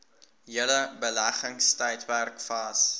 hele beleggingstydperk vas